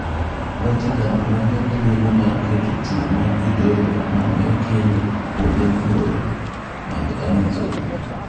Vatican rang'o thuolo mar keto chuo ma jodolo mane okendo kuonde mabor mag Amazon